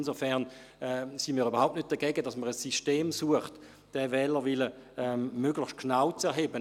Insofern sind wir überhaupt nicht dagegen, dass man ein System sucht, um den Wählerwillen möglichst genau zu erheben.